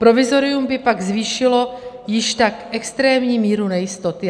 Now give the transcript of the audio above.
Provizorium by pak zvýšilo již tak extrémní míru nejistoty.